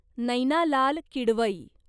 Naina Lal Kidwai